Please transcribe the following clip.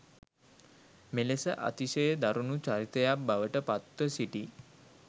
මෙලෙස අතිශය දරුණු චරිතයක් බවට පත්ව සිටි